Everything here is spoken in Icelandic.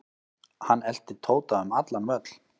Hann elti Tóta um allan völl.